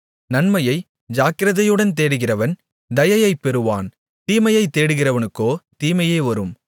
நன்மையை ஜாக்கிரதையுடன் தேடுகிறவன் தயையைப் பெறுவான் தீமையைத் தேடுகிறவனுக்கோ தீமையே வரும்